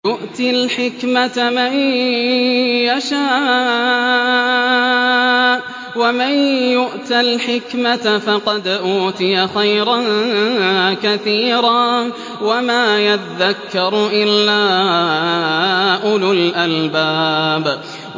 يُؤْتِي الْحِكْمَةَ مَن يَشَاءُ ۚ وَمَن يُؤْتَ الْحِكْمَةَ فَقَدْ أُوتِيَ خَيْرًا كَثِيرًا ۗ وَمَا يَذَّكَّرُ إِلَّا أُولُو الْأَلْبَابِ